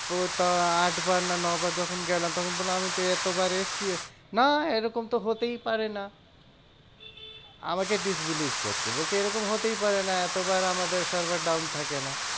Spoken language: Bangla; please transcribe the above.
ও তো আট বার না ন বার যখন গেলাম তখন বললাম আমিতো তো এতবার এসেছি। না এরকম তো হতেই পারে না, আমাকে disbelief করছে। বলছে এরকম হতেই পারে না, এতবার আমাদের server down থাকে না।